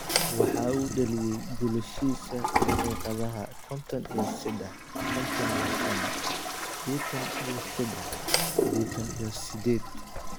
Waxa uu dhaliyay goolashiisa daqiiqadaha konton iyo sedax, konton iyo shaan, sidetaan iyo sedax, sidentan iyo sideed.